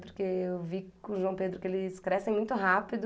Porque eu vi com o João Pedro que eles crescem muito rápido.